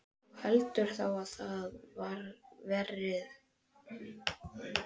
Þú heldur þá að það verði stelpa?